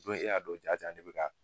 Dɔ e y'a dɔ jaja ne be ka